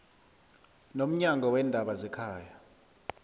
nomnyango weendaba zekhaya